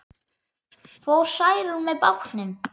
Fór Særún með bátnum.